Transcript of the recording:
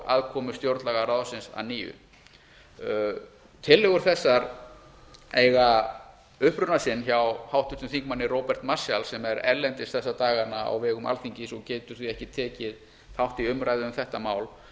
aðkomu stjórnlagaráðsins að nýju tillögur þessar eiga uppruna sinn hjá háttvirtum þingmanni róberti marshall sem er erlendis þessa dagana á vegum alþingis og getur því ekki tekið þátt í umræðu um þetta mál